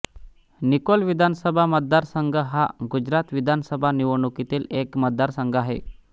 Nicole विधानसभा मतदारसंघ हा गुजरात विधानसभा निवडणुकीतील एक मतदारसंघ आहे